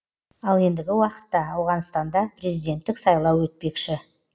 ал ендігі уақытта ауғанстанда президенттік сайлау өтпекші